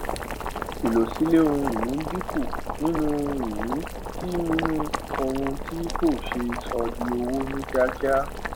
ìlọ sílẹ ohun ìní ìdínkù nínú ohunìní tí nínú ohunìní tí kò ṣeé sọ di owó ní kíákíá